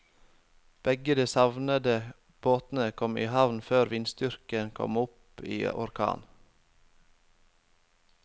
Begge de savnede båtene kom i havn før vindstyrken kom opp i orkan.